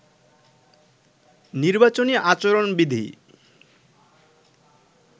নির্বাচনী আচরণ বিধি